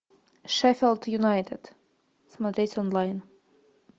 шеффилд юнайтед смотреть онлайн